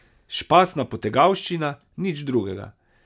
Špasna potegavščina, nič drugega.